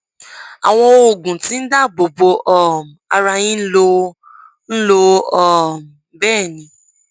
àwọn oògùn tí ń dáàbò bo um ara yín ń lò ń lò um bẹẹ ni